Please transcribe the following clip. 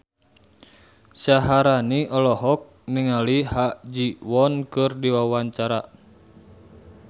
Syaharani olohok ningali Ha Ji Won keur diwawancara